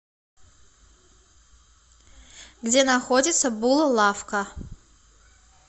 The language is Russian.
где находится бул лавка